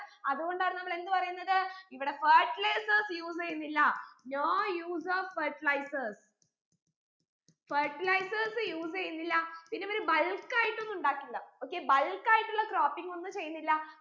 അതുകൊണ്ടാണ് നമ്മൾ എന്ത് പറയുന്നത് ഇവിടെ fertilizers use എയ്യുന്നില്ല no use of fertilizers fertilizers use എയ്യുന്നില്ല പിന്നെ ഇവര് bulk ആയിട്ട് ഒന്നും ഉണ്ടാക്കില്ല okaybulk ആയിട്ടുള്ള croping ഒന്നും ചെയ്യുന്നില്ല